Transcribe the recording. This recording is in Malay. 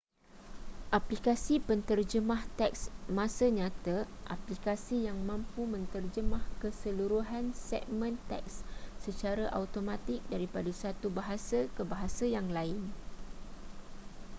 aplikasi penterjemah teks masa nyata aplikasi yang mampu menterjemah keseluruhan segmen teks secara automatik daripada satu bahasa ke bahasa yang lain